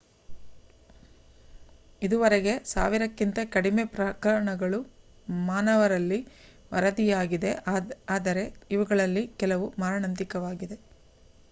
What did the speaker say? ಇದುವರೆಗೆ ಸಾವಿರಕ್ಕಿಂತ ಕಡಿಮೆ ಪ್ರಕರಣಗಳು ಮಾನವರಲ್ಲಿ ವರದಿಯಾಗಿವೆ ಆದರೆ ಅವುಗಳಲ್ಲಿ ಕೆಲವು ಮಾರಣಾಂತಿಕವಾಗಿವೆ